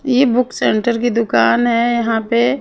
ये book centre की दुकान है यहां पे--